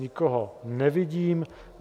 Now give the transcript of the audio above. Nikoho nevidím.